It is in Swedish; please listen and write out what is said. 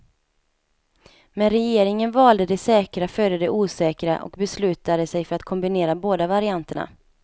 Men regeringen valde det säkra före det osäkra och beslutade sig för att kombinera båda varianterna.